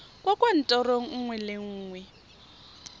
kwa kantorong nngwe le nngwe